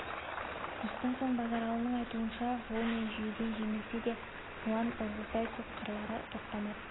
осыдан соң базаралының айтуынша жол мен жүйеден жеңілсе де жуан ырғызбай сотқарлары тоқтамапты